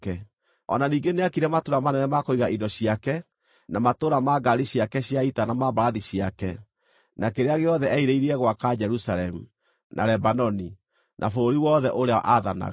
o na ningĩ nĩaakire matũũra manene ma kũiga indo ciake na matũũra ma ngaari ciake cia ita na ma mbarathi ciake, na kĩrĩa gĩothe eerirĩirie gwaka Jerusalemu, na Lebanoni, na bũrũri wothe ũrĩa aathanaga.